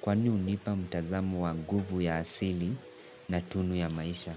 Kwani hunipa mtazamo wa nguvu ya asili na tunu ya maisha.